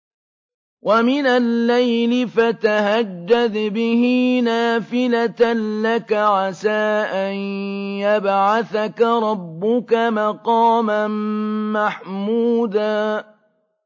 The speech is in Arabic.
وَمِنَ اللَّيْلِ فَتَهَجَّدْ بِهِ نَافِلَةً لَّكَ عَسَىٰ أَن يَبْعَثَكَ رَبُّكَ مَقَامًا مَّحْمُودًا